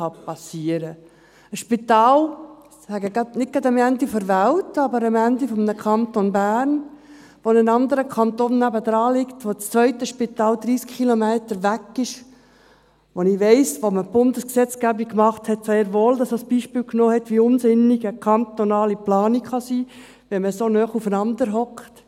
Ein Spital, nicht gerade am Ende der Welt, aber am Ende des Kantons Bern, angrenzend an einen anderen Kanton, dessen zweites Spital 30 Kilometer weit entfernt ist … Ich weiss, dass man, als man die Bundesgesetzgebung machte, dies sehr wohl als Beispiel nahm, wie unsinnig eine kantonale Planung sein kann, wenn man so nahe aufeinandersitzt.